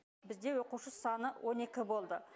бізде оқушы саны он екі болды